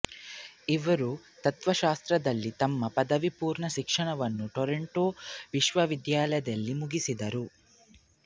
ಇವರು ತತ್ವಶಾಸ್ತ್ರದಲ್ಲಿ ತಮ್ಮ ಪದವಿಪೂರ್ವ ಶಿಕ್ಷಣವನ್ನು ಟೊರೊಂಟೊ ವಿಶ್ವವಿದ್ಯಾಲಯದಲ್ಲಿ ಮುಗಿಸಿದರು